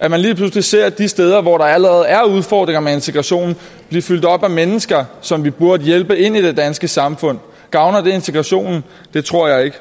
at man lige pludselig ser de steder hvor der allerede er udfordringer med integrationen blive fyldt op af mennesker som vi burde hjælpe ind i det danske samfund gavner det integrationen det tror jeg ikke